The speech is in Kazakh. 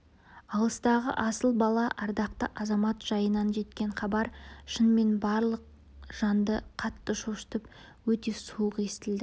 алыстағы асыл бала ардақты азамат жайынан жеткен хабар шынымен барлық жанды қатты шошытып өте суық естілді